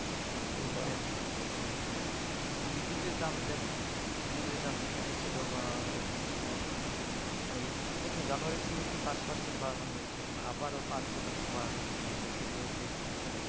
বিদ্যুতের দাম দেখেন বিদুতের দাম যেখানে ছিল আহ এখন আইস কোথায় জানুয়ারির শুরু তে পাঁচ percent বাড়ানো হয়েছে এখন আবারো পাঁচ শতাংশ বাড়ানো হয়েছে ফেব্রুয়ারি তে যুক্ত হৰে